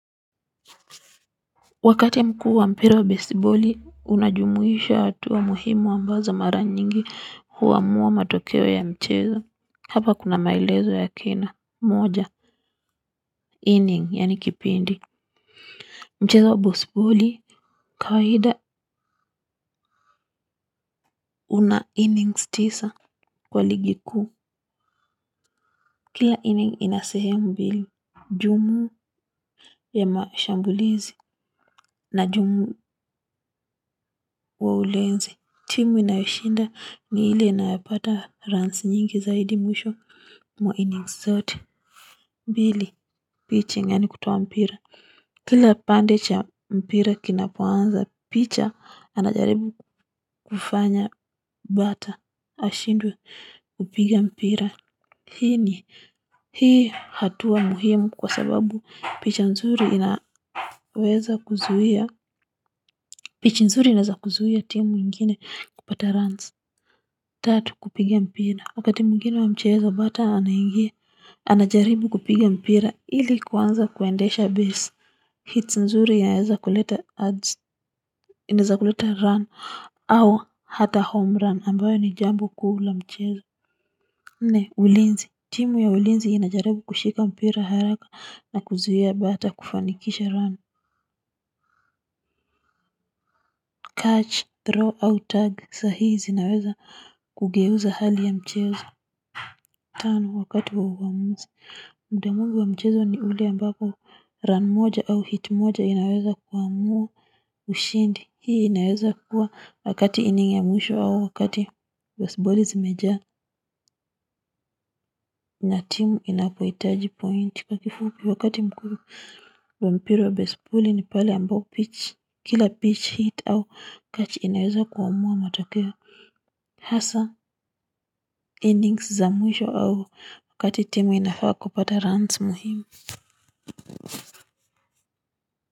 Wakati mkuu wa mpira wa besiboli, unajumuisha hatua muhimu ambazo mara nyingi hua mua matokeo ya mchezo. Hapa kuna melezo ya kina, moja, inning, yenye kipindi. Mchezo wa besiboli, kawa hida una innings tisa kwa ligi kuu. Kila inning inasehemu mbili, jumu ya mashambulizi na jumu wa ulinzi. Timu inayoshinda ni ile nayopata runs nyingi zaidi mwisho. Wa innings zote, mbili. Pichi gani kutoa mpira. Kila pande cha mpira kinapo anza pitcher anajaribu kufanya bata. Ashindwe kupiga mpira. Hini. Hii hatua muhimu kwa sababu picha nzuri inaweza kuzuhia. Picha nzuri inaweza kuzuhia timu ingine kupata runs. Tatu kupiga mpira, wakati mwingine wa mchezo batter anaingia. Anajaribu kupiga mpira. Ili kuanza kuendesha base, hits nzuri inaweza kuleta ads, inaweza kuleta run, au hata home run ambayo ni jambo kuu la mchezo. Ni ulinzi. Timu ya ulinzi inajarabu kushika mpira haraka na kuzuhia bata kufanikisha run. Catch, throw, au tag, sahizi inaweza kugeuza hali ya mchezo. Turn wakati wa uamuzi muda mwingi wa mchezo ni ule ambapo run moja ama hit moja inaweza kuamua ushindi. Hii inaweza kuwa wakati inning ya mwisho au wakati basebali si mejaa na team inapohitaji pointi. Kwa kifupi wakati mkuu wa mpira wa baseball ni pale ambao pitch, kila pitch hit au catch inaweza kuamua matokeo. Hasa inings za mwisho au wakati timu inafaa kupata rans muhimu.